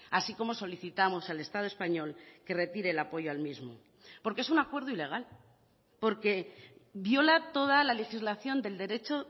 así como solicitamos al estado español que retire el apoyo al mismo porque es un acuerdo ilegal porque viola toda la legislación del derecho